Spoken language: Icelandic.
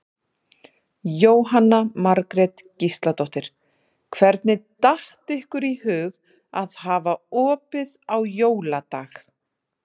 Jóhanna Margrét Gísladóttir: Hvernig datt ykkur í hug að hafa opið á jóladag?